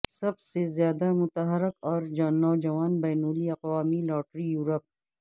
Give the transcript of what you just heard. سب سے زیادہ متحرک اور نوجوان بین الاقوامی لاٹری یورپ